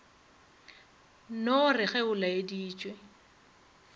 no re ge go laeditšwe